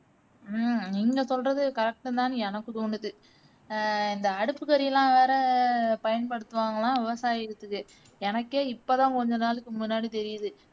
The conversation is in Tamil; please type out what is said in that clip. உம் நீங்க சொல்றது correct தான்னு எனக்கு தோனுது அஹ் இந்த அடுப்புகரியெல்லாம் வேற பயன்படுத்டுவாங்களாம் விவசாயத்துக்கு எனக்கே இப்போதான் கொஞ்ச நாளுக்கு முன்னாடி தெரியுது